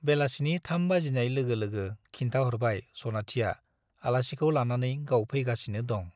बेलासिनि थाम बाजिनाय लोगो लोगो खिन्थाहरबाय सनाथिया आलासिखौ लानानै गाव फैगासिनो दं ।